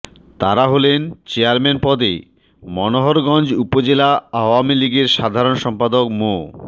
তারা হলেন চেয়ারম্যান পদে মনোহরগঞ্জ উপজেলা আওয়ামী লীগের সাধারণ সম্পাদক মো